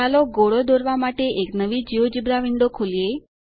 ચાલો ગોળો દોરવા માટે એક નવી ગેઓગેબ્રા વિંડો ખોલીએ